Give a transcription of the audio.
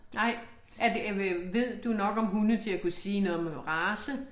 Nej er det øh ved du nok om hunde til at kunne sige noget med noget race?